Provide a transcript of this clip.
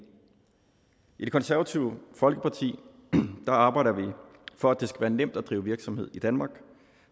i det konservative folkeparti arbejder vi for at det skal være nemt at drive virksomhed i danmark